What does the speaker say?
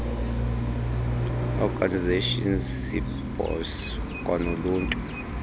organisations cbos kwanoluntu